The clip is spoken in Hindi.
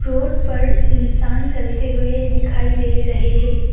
रोड पर इंसान चलते हुए दिखाई दे रहे हैं।